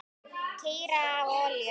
Keyra á olíu?